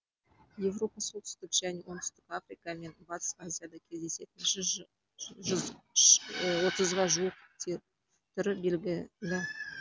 еуропа солтүстік және оңтүстік африка мен батыс азияда кездесетін отызға жуық түрі белгілі